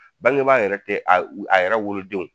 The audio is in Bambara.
Bangebaa yɛrɛ te a a yɛrɛ wolodenw